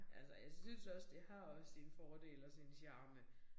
Altså og jeg synes også det har også sine fordele og sin charme